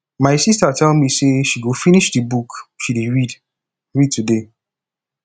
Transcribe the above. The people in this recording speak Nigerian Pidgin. my sister tell me say she go finish the book she dey read read today